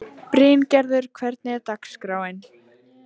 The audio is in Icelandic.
Bryngerður, hvernig er dagskráin?